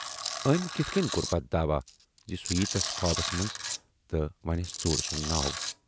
ٲمۍ کِتھٕ کِنۍ کور پتہٕ داعوا زِ سُہ یِیہِ تس خوابَس منز تہٕ وٮ۪نس ژوٗرٕ سُند ناو۔